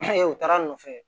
u taara'a nɔfɛ